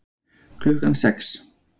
Klukkan sex